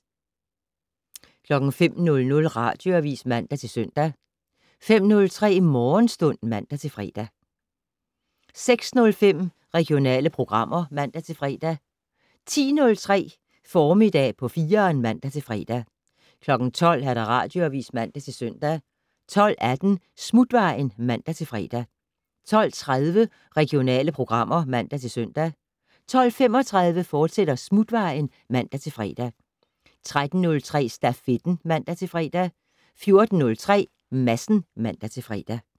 05:00: Radioavis (man-søn) 05:03: Morgenstund (man-fre) 06:05: Regionale programmer (man-fre) 10:03: Formiddag på 4'eren (man-fre) 12:00: Radioavis (man-søn) 12:18: Smutvejen (man-fre) 12:30: Regionale programmer (man-søn) 12:35: Smutvejen, fortsat (man-fre) 13:03: Stafetten (man-fre) 14:03: Madsen (man-fre)